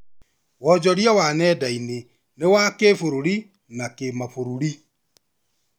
Wonjoria wa nenda-inĩ ni wa kĩbũrũri na kimabũrũri